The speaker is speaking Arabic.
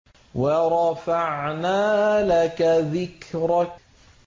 وَرَفَعْنَا لَكَ ذِكْرَكَ